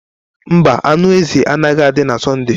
Mba, anụ ezi agaghị adị na Sọnde.